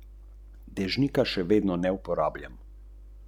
Kako ste prišli do nje?